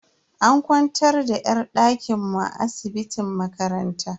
An kwantar da yar dakin mu a asibitin makaranta.